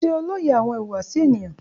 Ṣe o loye awọn ihuwasi eniyan?